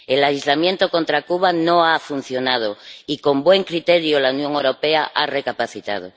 El aislamiento contra Cuba no ha funcionado, y con buen criterio la Unión Europea ha recapacitado